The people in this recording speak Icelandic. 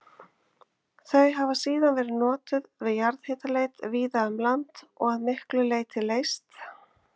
Þau hafa síðan verið notuð við jarðhitaleit víða um land og að miklu leyti leyst